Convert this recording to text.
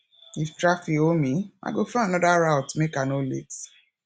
if traffic hold me i go find another route make i no late